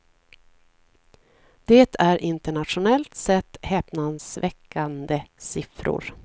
Det är internationellt sett häpnadsväckande siffror.